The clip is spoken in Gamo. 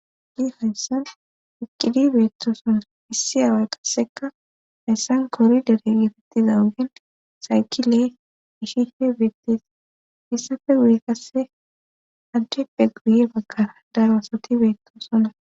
Hayasan eqidi beettoosonna issi awa qasseka hayssan kori dere geetettiza ogen saykile ishihe beettes issafe guye kasse addeppe guye bagkara daro asati beettoosonna.